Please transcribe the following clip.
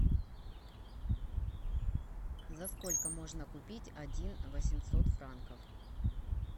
за сколько можно купить один восемьсот франков